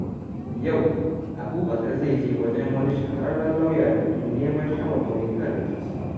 Yau, Abubakar zai je wajen wani shahararren lauya domin neman shawarwari kan rikici.